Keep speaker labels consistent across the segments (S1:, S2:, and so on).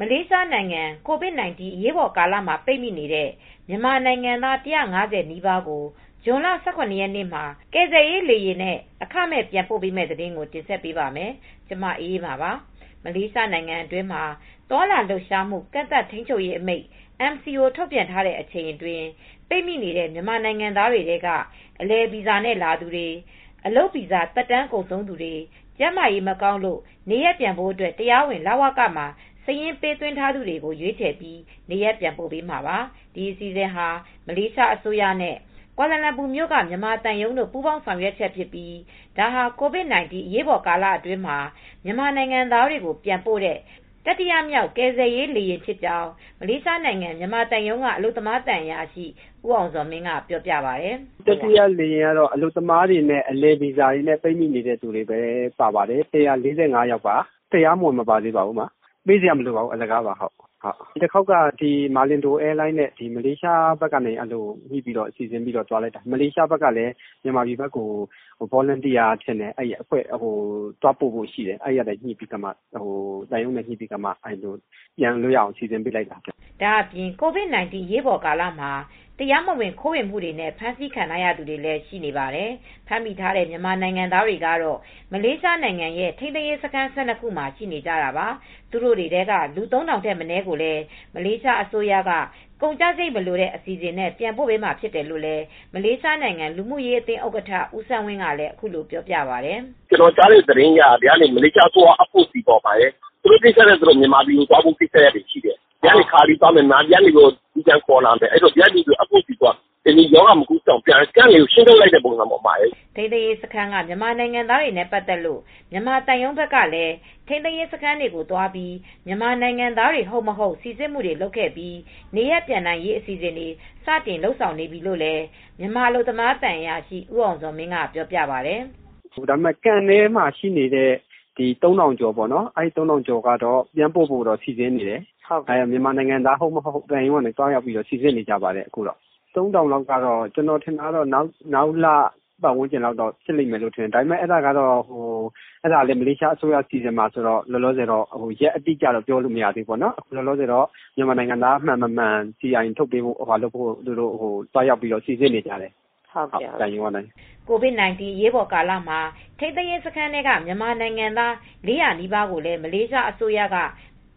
S1: မလေးရှားနိုင်ငံမှာ COVID-19 အရေးပေါ်ကာလမှာ ပိတ်မိနေတဲ့ မြန်မာနိုင်ငံသား ၁၅၀ နီးပါးကို ဇွန်လ ၁၇ရက်နေ့မှာ ကယ်ဆယ်ရေးလေယာဉ်နဲ့ အခမဲ့ပြန်ပို့မယ့်သတင်းကို ဗွီအိုအေမြန်မာပိုင်း သတင်းထောက် မအေးအေးမာက တင်ဆက်ပေးပါမယ်။ မလေးရှားနိုင်ငံအတွင်းမှာ သွားလာ လှုပ်ရှားမှု ကန့်သတ်ထိန်းချုပ်ရေးအမိန့် ထုတ်ပြန်ထားတဲ့ အချိန်အတွင်း ပိတ်မိနေတဲ့ မြန်မာနို်င်ငံသားတွေထဲက အလည်ဗီဇာနဲ့ လာသူတွေ၊ အလုပ်ဗီဇာသက်တမ်း ကုန်ဆုံးနေသူတွေ ကျန်းမာရေးမကောင်းလို့ နေရပ်ပြန်ဖို့ တရားဝင်လဝကမှာ စာရင်ပေးသွင်းထားသူတွေကို ရွေးချယ်ပြီး နေရပ်ပြန်ပို့ပေးမှာပါ။ ဒီအစီစဉ်ဟာ မလေးရှားအစိုးရနဲ့ ကွာလာလမ်ပူမြို့က မြန်မာသံရုံးတို့ ပူးပေါင်းဆောင်ရွက်ချက်ဖြစ်ပြီး ဒါဟာ COVID-19 အရေးပေါ်ကာလအတွင်းမှာ မြန်မာနိုင်ငံသားတွေကို ပြန်ပို့တဲ့ တတိယမြောက်က ကယ်ဆယ်ရေးလေယာဉ်လည်း ဖြစ်ကြောင်း မလေးရှားနိုင်ငံ မြန်မာသံရုံးက အလုပ်သမား သံအရာရှိ ဦးအောင်ဇော်မင်းကပြောပြပါတယ်။
S2: "တတိယလေယာဉ်ကတော့ အလုပ်သမားတွေနဲ့ အလည်ဗီဇာတွေနဲ့ ပိတ်မိနေတဲ့သူတွေပါပါတယ်။ ၁၄၅ ယောက်ပါ ပေးစရာမလိုပါဘူး အလကားပါ။ တခေါက်က မာလင်ဒိုအဲယားလိုင်းနဲ့ မလေးရှားဘက်ကနေ စီစဉ်ပါတယ်။ မလေးရှားဘက်ကလည်း မြန်မာဘက်ကို ဗော်လန်တီယာအဖွဲ့သွားဖို့ရှိတယ်။ အဲဒီအတွက် မြန်မာသံရုံးနဲ့ ညှိနှိုင်းပြီး စီစဉ်တာပါ။
S1: " ဒါအပြင် COVID-19 အရေးပေါ်ကာလမှာ တရားမဝင်ခိုးဝင်မှုတွေနဲ့ ဖမ်းဆီးခံထားရသူတွေလည်း ရှိပါတယ်။ ဖမ်းမိထားတဲ့ မြန်မာနိုင်ငံသားတွေကတော့ မလေးရှားနိုင်ငံရဲ့ ထိန်းသိမ်းရေးစခန်း ၁၂ ခု မှာရှိနေကြတာပါ။ သူတို့ထဲက လူ ၃,၀၀၀ ထက်မနည်းကိုလည်း မလေးရှားအစိုးရက ကုန်ကျစရိတ်လိုတဲ့ အစီအစဉ်ပြန်ပို့ပေးမှာဖြစ်တယ်လို့ မလေးရှားနိုင်ငံလူမူရေးအသင်းဥက္ကဋ္ဌ ဦးစန်းဝင်းကလည်းပြောပြပါတယ်။
S2: "ကျနော်ကြားတဲ့သတင်းကတော့ မလေးရှားအစိုးရက သူတို့ ကိစ္စနဲ့ သူတို့ မြန်မာပြည်ကိုသွားဖို့ရှိတယ်။ ဒီကနေ ခါလီသွားမယ်ပြီးတော့ ဟိုကပြန်ခေါ်လာမယ်။ အဲဒီတော့ FOC (Free of charge) နဲ့ပေါ့။ ဒီကလည်း ရောဂါ မကူးစက်အောင် camp စခန်းတွေကို ရှင်းပစ်လိုက်တဲ့ သဘောပေါ့။
S1: " ထိန်းသိမ်းရေးစခန်းက မြန်မာနိုင်ငံသားတွေနဲ့ ပတ်သက်လို့ မြန်မာသံရုံးဘက်ကလည်း ထိန်းသိမ်းရေးစခန်းတွေကို သွားပြီး မြန်မာနိုင်ငံသား ဟုတ်၊ မဟုတ် စိစစ်မှုတွေ လုပ်ပြီး နေရပ်ပြန်နိုင်ရေး အစီအစဉ်တွေ စတင်လုပ်ဆောင်နေပြီလို့လည်း မြန်မာအလုပ်သမား သံအရာရှိ ဦးအောင်ဇော်မင်းကပြောပြပါတယ်
S2: ။ "Camp ထဲမှာ ရှိနေတဲ့ လူ ၃,၀၀၀ ကျော်ကိုတော့ မြန်မာနိုင်ငံ ပြန်ပို့ဖို့ စီစဉ်နေတယ်မြန်မာနိုင်ငံသား ဟုတ်၊ မဟုတ် သံရုံးက သွားရောက်စိစစ်နေပါတယ်။ ၃,၀၀၀ လောက်ကကျနော်အထင် ပြန်ပို့မှာ နောက်လလောက်တော့ ဖြစ်နိုင်တယ်။ ဒါကတော့ ရက်အတိအကျ ပြောမရသေးဘူး။ မလေးရှားအစိုးရက စီစဉ်ဆောင်ရွက်တာဆိုတော့လည်း ကျနော်တို့ သေချာပြောလို့ မရသေးဘူး။ လောလောဆယ် စီအိုင် မည်သူမည်ဝါဖြစ်ကြောင်း အထောက်အထားစာအုပ် လုပ်ပေးဖို့တော့ မြန်မာသံရုံးက စခန်းထဲကို သွားပြီး စိစစ်မှုတွေလုပ်နေပါတယ်။
S1: " COVID-19 အရေးပေါ်ကာလမှာ ထိန်းသိမ်းရေးစခန်းထဲက မြန်မာနိုင်ငံသား ၄၀၀ နီးပါးကိုလည်း မလေးရှားအစိုးရက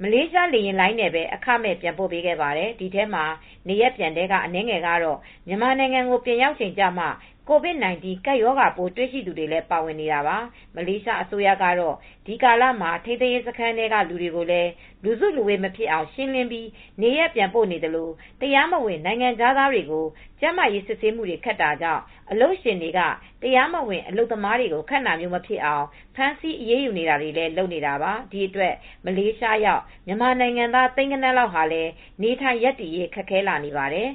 S1: မလေးရှားလေယာဉ်လိုင်းနဲ့ပဲ အခမဲ့ပြန်ပို့ပေးခဲ့ပါတယ်။ ဒီထဲမှာ နေရပ်ပြန်ထဲက အနည်းငယ်ကတော့ မြန်မာနိုင်ငံကို ပြန်ရောက်ချိန်ကျမှ COVID-19 ကပ်ရောဂါပိုးတွေ့ရှိသူတွေလည်း ပါဝင်နေတာပါ။ မလေးရှားအစိုးရကတော့ ဒီကာလမှာ ထိန်းသိမ်းရေးစခန်းတွေထဲက လူတွေကိုလည်း လူစုလူဝေး မဖြစ်အောင် ရှင်းလင်းပြီး နေရပ်ပြန်ပို့နေသလို တရားမဝင်နိုင်ငံခြားသားတွေကို ကျန်မားရေးစစ်ဆေးမှုတွေ ခက်တာကြောင့် အလုပ်ရှင်တွေက တရားမဝင် အလုပ်ခန့်တာမျိုး မဖြစ်အောင်လည်း ဖမ်းဆီးအရေးယူတာတွေ လုပ်နေတာပါ။ ဒီအတွက် မလေးရှားရောက် မြန်မာနိုင်ငံသား သိန်းဂဏန်းလောက်လည်း နေထိုင်ရပ်တည်ရေးခက်ခဲလာနေပါတယ်